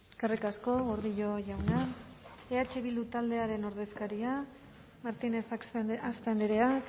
eskerrik asko gordillo jauna eh bildu taldearen ordezkaria martínez axpe andrea